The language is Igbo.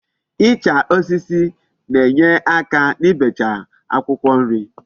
Icha osisi na-enyeaka n'ibecha Akwukwo nri